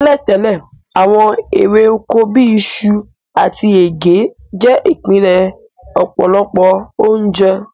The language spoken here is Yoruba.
Tẹ́lẹ̀tẹ́lẹ̀, àwon érè oko bi isu àtí ẹ̀gẹ́ je ìpìnlẹ̀ ọ̀pọ̀lọpọ̀ ounje